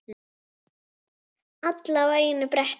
Alla á einu bretti.